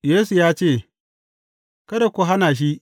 Yesu ya ce, Kada ku hana shi.